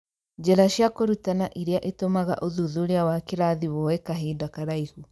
Njĩra cia kũrutana irĩa itũmaga ũthuthuria wa kĩrathi woye kahinda karaihu.